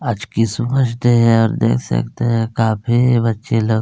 आज Christmas day है और देख सकते है काफी बच्चे लोग --